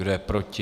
Kdo je proti?